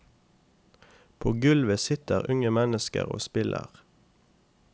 På gulvet sitter unge mennesker og spiller.